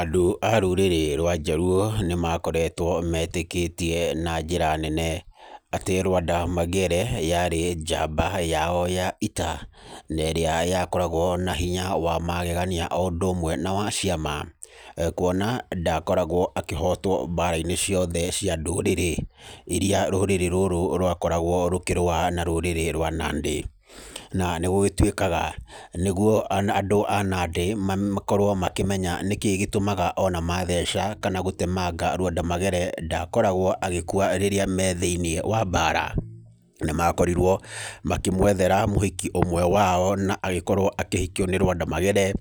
Andũ a rũrĩrĩ rwa Njaluo, nĩ maakoretwo metĩkĩtie na njĩra nene, atĩ Lwanda Magere yaarĩ njamba yao ya ita. Na ĩrĩa yakoragwo na hinya wa magegania o ũndũ ũmwe na wa ciama. Kuona ndakoragwo akĩhotwo mbara-inĩ ciothe cia ndũrĩrĩ, irĩa rũrĩrĩ rũrũ rwakoragwo rũkĩrũa na rũrĩrĩ rwa Nandi. Na nĩ gũgĩtuĩkaga, nĩguo andũ a Nandi makorwo makĩmenya nĩkĩĩ gĩtũmaga ona matheca kana gũtemanga Lwanda Magere ndakoragwo agĩkua rĩrĩa me thĩiniĩ wa mbaara, nĩ makorirwo, makĩmwethera mũhiki ũmwe wao na agĩkorwo akĩhikio nĩ Lwanda Magere.